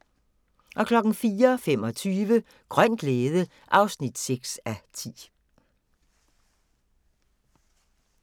04:25: Grøn glæde (6:10)